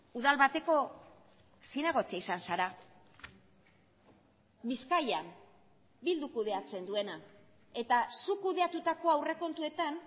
udal bateko zinegotzia izan zara bizkaian bilduk kudeatzen duena eta zuk kudeatutako aurrekontuetan